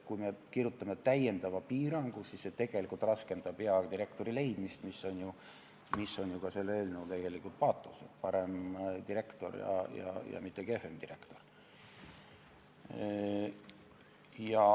Kui me kirjutame sisse lisapiirangu, siis see raskendab hea direktori leidmist, mis on ju selle eelnõu paatos, et parem direktor ja mitte kehvem direktor.